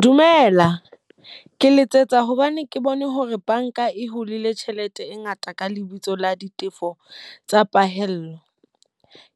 Dumela, ke letsetsa hobane ke bone hore banka e hulile tjhelete e ngata ka lebitso la ditefo tsa pahello.